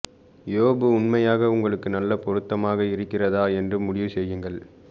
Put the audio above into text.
யோபு உண்மையாக உங்களுக்கு நல்ல பொருத்தமாக இருக்கிறதா என்று முடிவு செய்யுங்கள்